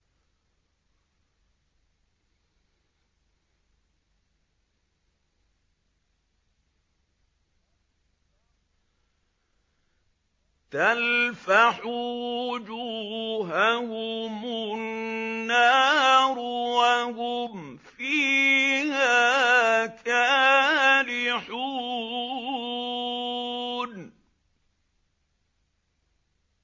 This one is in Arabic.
تَلْفَحُ وُجُوهَهُمُ النَّارُ وَهُمْ فِيهَا كَالِحُونَ